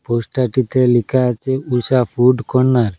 পোস্টারটিতে লেখা আছে Usha food corner.